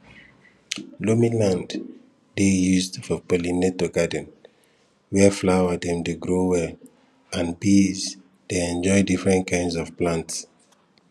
loamy land dey used for pollinator garden where flower dem dey grow well and bees dey enjoy different kind of plants